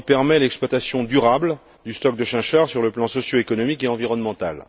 il permet l'exploitation durable du stock de chinchard sur le plan socioéconomique et environnemental.